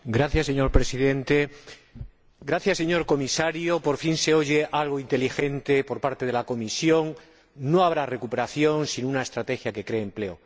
Señor Presidente, señor Comisario, por fin se oye algo inteligente por parte de la Comisión no habrá recuperación sin una estrategia que cree empleo.